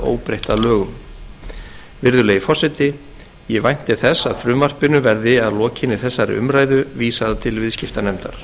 óbreytt að lögum virðulegi forseti ég vænti þess að frumvarpinu verði að lokinni þessari umræðu vísað til viðskiptanefndar